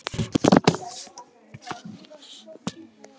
Hvað verður mitt næsta lið?